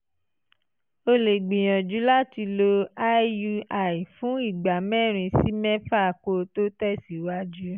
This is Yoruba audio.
o lè gbìyànjú láti lo iui fún ìgbà mẹ́rin sí mẹ́fà kó o tó tẹ̀síwájú